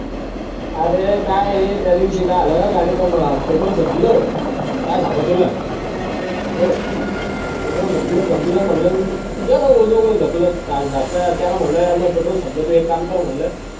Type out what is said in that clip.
आरं त्या दिवशी काय झालं गाडीतलं petrol संपलं काय सांगावं तुला hello petrol संपलं तं संपलं म्हणलं गेलो बॉ दोघ ढकलत आज धक्का त्याला म्हणलो मा गाडीतलं petrol संपलं त्याला म्हणलं तू एक काम कर म्हंटल